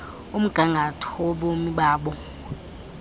umgangatho wobomi babo